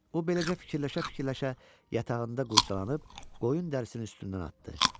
O, beləcə, fikirləşə-fikirləşə yatağında qurcalanıb qoyun dərisindən atdı.